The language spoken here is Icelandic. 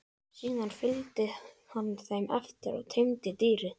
Síðan fylgdi hann þeim eftir og teymdi dýrið.